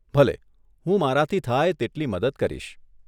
ભલે, હું મારાથી થાય તેટલી મદદ કરીશ.